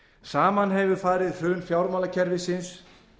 saman hefur farið hrun fjármálakerfisins